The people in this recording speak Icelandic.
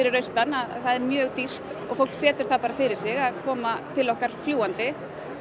austan það er mjög dýrt og fólk setur það fyrir sig að koma til okkar fljúgandi